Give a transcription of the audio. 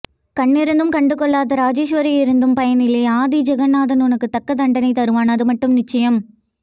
கண்ணிருந்தும் கண்டுகொள்ளாத ராஜேஸ்வரி இருந்தும் பயனில்லை ஆதி ஜெகந்நாதன் உனக்கு தக்க தண்டனைத்தருவான் அதுமட்டும் நிச்சயம்